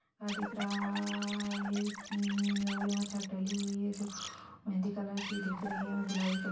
यहाँ दिख रह-रह-रह-रहा है की-की और यहाँ छत डली हुई है जो मेहंदी कलर की दिख रही है और गुलाबी कलर --